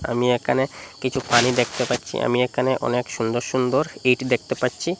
আমি এখানে কিচু পানি দেকতে পাচ্চি আমি এখানে অনেক সুন্দর সুন্দর ইট দেকতে পাচ্চি।